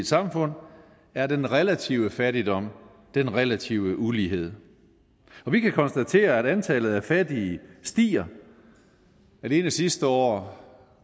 samfund er den relative fattigdom den relative ulighed og vi kan konstatere at antallet af fattige stiger alene sidste år